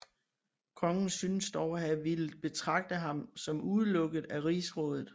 Kongen synes endog at have villet betragte ham som udelukket af rigsrådet